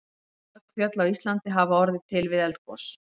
Mörg fjöll á Íslandi hafa orðið til við eldgos.